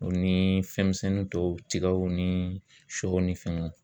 O ni fɛnmisɛnnin tɔw tigaw ni sɔw ni fɛngɛw